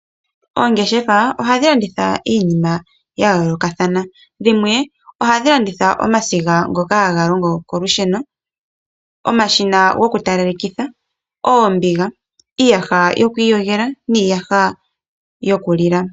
Oongeshefa ohadhi landitha iinima ya yoolokathana. Dhimwe ohadhi landitha omasiga ngoka haga longo kolusheno, ookila dhokutalalekitha, oombiga, iiyaha yoku iyogela niiyaha yokulila.